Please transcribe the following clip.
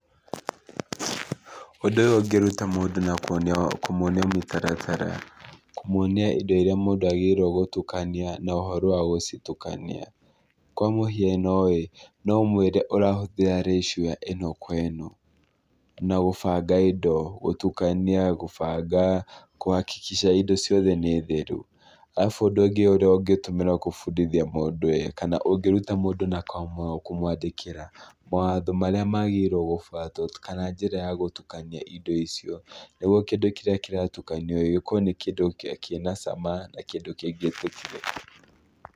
Ũndũ ũyũ ũngĩruta mũndũ na kũmuonia mũtaratara, kũmuonia indo iria mũndũ agĩrĩirwo gũtukania na ũhoro wa gũcitukania. Kwa mũhiano ĩ, no ũmũĩre ũrahũthĩra ratio ĩno kwa ĩno, na gũbanga indo, gũtukania, gũbanga kũhakikica indo ciothe nĩ theru. Arabu ũndũ ũngĩ ũrĩa ũngĩtũmĩrwo kũbundithia mũndũ ĩ kana ũngĩruta mũndũ na kũmwandĩkĩra mawatho marĩa magĩrĩirwo gũbuatwo, kana njĩra ya gũtukania indo icio, nĩguo kĩndũ kĩrĩa kĩratukanio gĩkorwo nĩ kĩndũ kĩna cama.